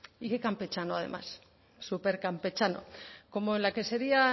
y qué campechano además súper campechano como en la que sería